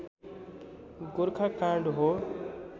गोर्खा काण्ड हो